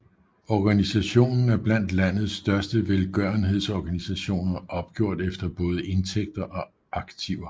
Organisationen er blandt landets største velgørenhedsorganisationer opgjort efter både indtægter og aktiver